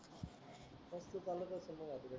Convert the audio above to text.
तू चा